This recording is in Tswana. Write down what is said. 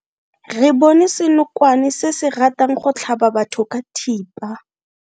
Re bone senokwane se se ratang go tlhaba batho ka thipa.